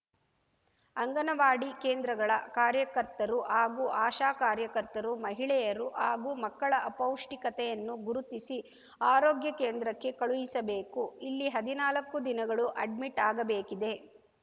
ಅಂಗನವಾಡಿ ಕೇಂದ್ರಗಳ ಕಾರ್ಯಕರ್ತರು ಹಾಗೂ ಆಶಾ ಕಾರ್ಯಕರ್ತರು ಮಹಿಳೆಯರು ಹಾಗೂ ಮಕ್ಕಳ ಅಪೌಷ್ಠಿಕತೆಯನ್ನು ಗುರುತಿಸಿ ಆರೋಗ್ಯ ಕೇಂದ್ರಕ್ಕೆ ಕಳುಹಿಸಬೇಕು ಇಲ್ಲಿ ಹದಿನಾಲಕ್ಕು ದಿನಗಳು ಅಡ್ಮಿಟ್‌ ಆಗಬೇಕಿದೆ